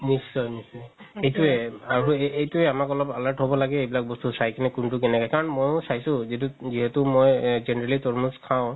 নিশ্চয়ই নিশ্চয়ই সেইটোৱে আৰু এইটোৱে আমাক অলপ alert হ'ব লাগে এইবিলাক বস্তু চাই কিনে কুন্তু কেনেকে কাৰণ মইও যিতো যিহেতু মই কিনিলে তৰমুজ খাও